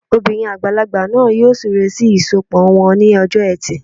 Obìnrin àgbàlagbà náà yóò súre sí ìsọpọ̀ wọn ní ọjọ́ ẹtì